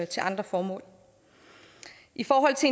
til andre formål i forhold til